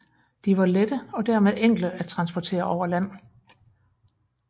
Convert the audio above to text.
De var lette og dermed enkle at transportere over land